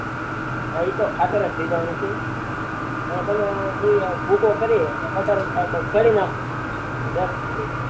હા એતો ખાતર જ થઇ જવાનું છે હા તમારા બિયારણ માં ભૂકો કરી આપડે ખેડી નાખો